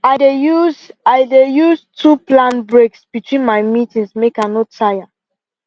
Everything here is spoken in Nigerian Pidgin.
i dey use i dey use too plan breaks between my meetings make i no tire